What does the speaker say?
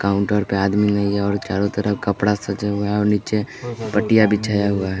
Counter पे आदमी नहीं है और चारों तरफ कपड़ा सजा हुआ है और नीचे पट्टियां बिछाया हुआ है।